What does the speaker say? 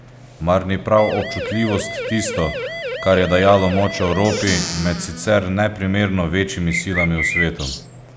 Mar ni prav občutljivost tisto, kar je dajalo moč Evropi med sicer neprimerno večjimi silami v svetu?